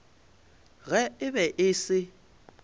ge e be e se